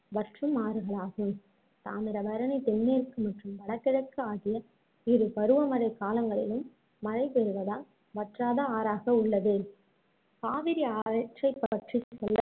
வற்றும் ஆறுகளாகும் தாமிரபரணி தென்மேற்கு மற்றும் வடகிழக்கு ஆகிய இரு பருவமழை காலங்களிலும் மழைபெறுவதால் வற்றாத ஆறாக உள்ளது காவிரி ஆறு